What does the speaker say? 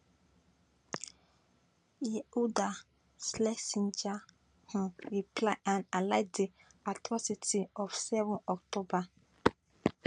yehuda schlesinger um reply and highlight di atrocities of seven october